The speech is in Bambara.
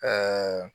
Ka